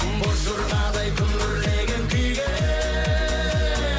боз жорғадай күмбірлеген күйге